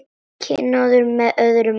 Kynóður með öðrum orðum.